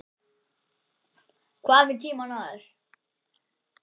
Hvað með tímann áður?